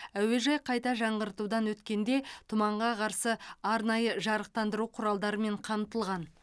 әуежай қайта жаңғыртудан өткенде тұманға қарсы арнайы жарықтандыру құралдарымен қамтылған